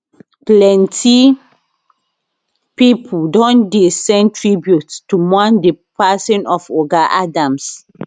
plenty pipo don dey send tributes to mourn di passing of oga adams